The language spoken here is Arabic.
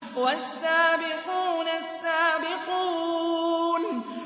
وَالسَّابِقُونَ السَّابِقُونَ